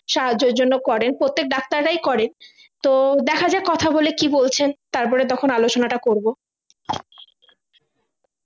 সাহায্যের জন্য করে প্রত্যেক ডাক্তাররাই করে তো দেখা যাক কথা বলে কি বলছেন তারপরে তখন আলোচনাটা করবো